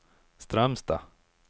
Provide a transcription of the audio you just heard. Strömstad